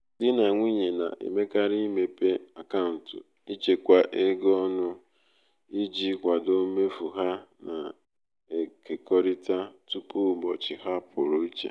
di na nwunye na-emekarị imepe akaụntụ ịchekwa ego ọnụ iji kwado mmefu ha na-ekekọrịta tupu ụbọchị ha pụrụ iche